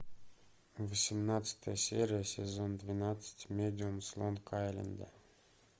восемнадцатая серия сезон двенадцать медиум с лонг айленда